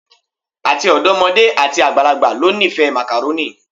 Ati ọdọmode ati agbalagba lo nifẹ Macaroni